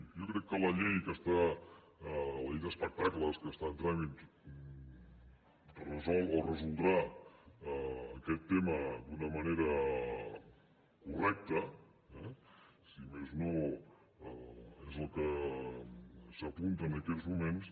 jo crec que la llei d’espectacles que està en tràmit resol o resoldrà aquest tema d’una manera correcta eh si més no és el que s’apunta en aquests moments